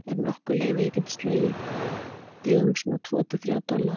Er nokkur leið að ég geti slegið þig um svona tvo til þrjá dollara?